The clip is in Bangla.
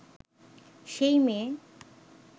সেই মেয়ে